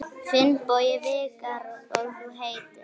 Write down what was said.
Finnbogi Vikar: Og þú heitir?